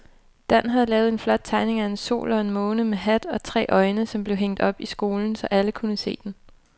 Dan havde lavet en flot tegning af en sol og en måne med hat og tre øjne, som blev hængt op i skolen, så alle kunne se den.